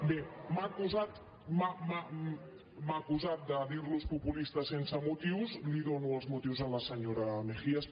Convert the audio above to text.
bé m’ha acusat de dir los populistes sense motius li dono els motius a la senyora mejías